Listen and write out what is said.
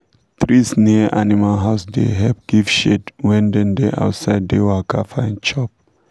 trees near animal house da help give shade when dem da outside da waka find chop